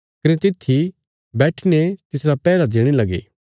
कने तित्थी बैठीने तिसरा पैहरा देणे लगे